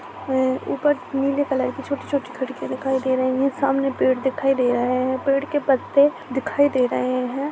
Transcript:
ऊपर नीले कलर की छोटी छोटी खिड़कियां दिखाई दे रही है सामने पेड़ दिखाई दे रहा है पेड़ के पत्ते दिखाई दे रहे हैं।